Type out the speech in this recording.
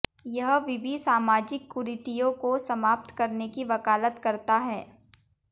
यह विवि सामाजिक कुरीतियों को समाप्त करने की वकालत करता है